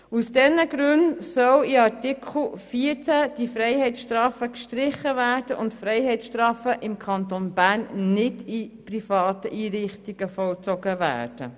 Aus diesen Gründen sollen in Artikel 14 die Freiheitsstrafen gestrichen werden und Freiheitsstrafen sollen im Kanton Bern nicht in privaten Einrichtungen vollzogen werden.